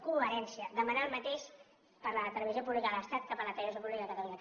coherència demanar el mateix per a la televisió pública de l’estat que per a la televisió pública de catalunya